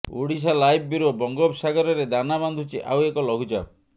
Odisha live bureau ବଙ୍ଗୋପସାଗରରେ ଦାନା ବାନ୍ଧୁଛି ଆଉ ଏକ ଲଘୁଚାପ